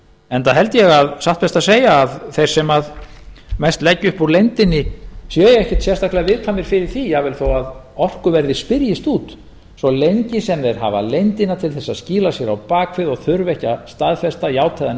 enda held ég að satt best að segja að þeir sem mest leggja upp úr leyndinni séu ekkert sérstaklega viðkvæmir fyrir því jafnvel þó að orkuverðið spyrjist út svo lengi sem þeir hafa leyndina til þess að skýla sér á bak við og þurfa ekki að staðfesta játa eða